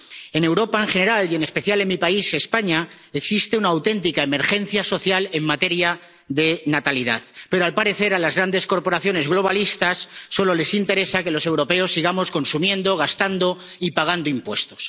En Europa, en general, y en especial en mi país —España— existe una auténtica emergencia social en materia de natalidad, pero, al parecer, a las grandes corporaciones globalistas solo les interesa que los europeos sigamos consumiendo, gastando y pagando impuestos.